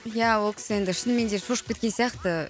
ия ол кісі енді шынымен де шошып кеткен сияқты